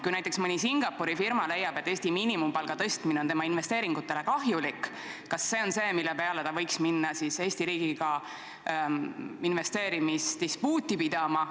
Kui näiteks mõni Singapuri firma leiab, et Eesti miinimumpalga tõstmine on tema investeeringutele kahjulik, kas see on see, mille peale ta võiks minna Eesti riigiga investeerimisdispuuti pidama?